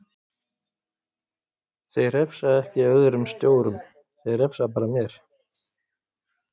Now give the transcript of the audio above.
Þeir refsa ekki öðrum stjórum, þeir refsa bara mér.